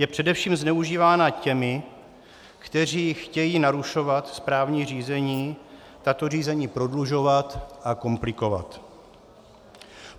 Je především zneužívána těmi, kteří chtějí narušovat správní řízení, tato řízení prodlužovat a komplikovat.